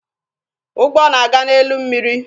Ụgbọ na aga n'elu mmiri